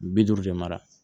Bi duuru de mara